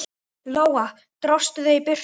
Lóa: Dróstu þau í burtu?